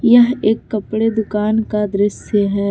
यह एक कपड़े दुकान का दृश्य है।